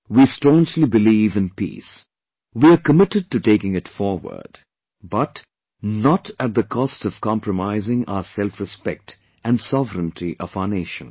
We staunchly believe in peace; we are committed to taking it forward... but NOT at the cost of compromising our selfrespect and sovereignty of our Nation